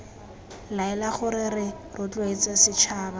laela gore re rotloetse setšhaba